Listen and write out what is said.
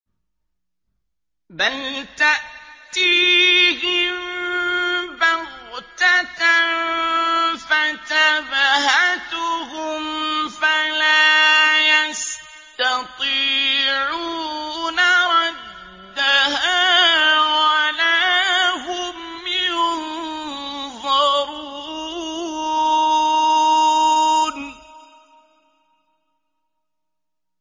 بَلْ تَأْتِيهِم بَغْتَةً فَتَبْهَتُهُمْ فَلَا يَسْتَطِيعُونَ رَدَّهَا وَلَا هُمْ يُنظَرُونَ